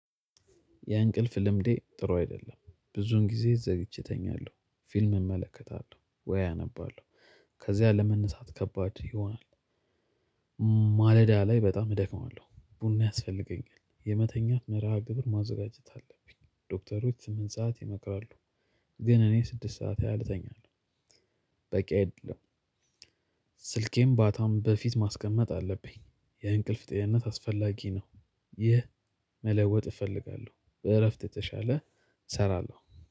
የእንቅልፍ ልምዴ ጥሩ አይደለም ብዙውን ጊዜ ዘግይቼ እተኛለሁ ፊልም እመለከታለሁ ወይ አነባለሁ ከዚያ ለመነሳት ከባድ ይሆናል። ማለዳ ላይ በጣም እደክማለሁ ቡና ያስፈልገኛል። የመተኛት መርሃ ግብር ማዘጋጀት አለብኝ። ዶክተሮች ስምንት ሰዓት ይመክራሉ። ግን እኔ ስድስት ሰዓት ያህል እተኛለሁ። በቂ አይደለም። ስልኬም ባታም በፊት ማስቀመጥ አለብኝ። የእንቅልፍ ጤንነት አስፈላጊ ነው። ይህ መለወጥ እፈልጋለሁ በእረፍት የተሻለ እሰራለሁ